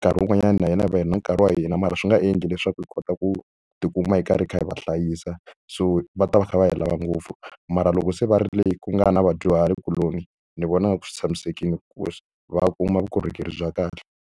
nkarhi wun'wanyani na hina hi va hi nkarhi wa hina mara swi nga endli leswaku hi kota ku tikuma hi karhi hi kha hi va hlayisa so va ta va kha va hi lava ngopfu mara loko se va ri le ku nga na vadyuhari kuloni ni vona nga ku swi tshamisekile ku va kuma vukorhokeri bya kahle.